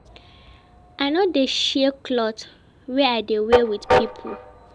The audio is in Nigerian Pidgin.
I no dey share clothe wey I dey wear wit pipo.